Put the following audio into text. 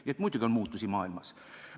Nii et muidugi on maailmas muutusi.